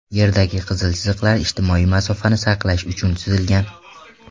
Yerdagi qizil chiziqlar ijtimoiy masofani saqlash uchun chizilgan.